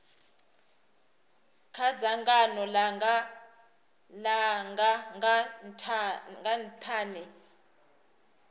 kha dzangano langa nga nthani